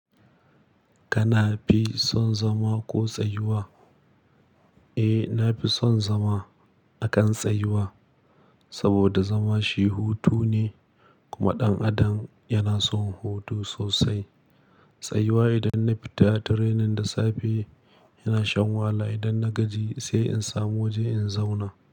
Kana fi son zama ko tsayuwa? Eh, na fi son zama a kan tsayuwa saboda zama shi hutu ne, kuma ɗan adam yana son hutu sosai. Tsayuwa idan na fita da training da safe yana shan wahala, idan na gaji sai in samu waje in zauna.